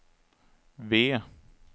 V